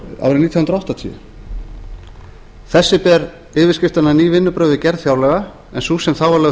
nítján hundruð áttatíu þessi ber yfirskriftina ný vinnubrögð við gerð fjárlaga en sú sem þá var lögð